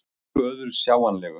Engu öðru sjáanlegu.